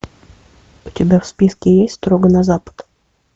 у тебя в списке есть строго на запад